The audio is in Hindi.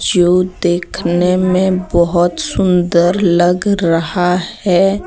जो देखने में बहोत सुंदर लग रहा है।